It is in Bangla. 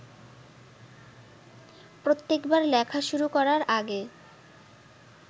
প্রত্যেকবার লেখা শুরু করার আগে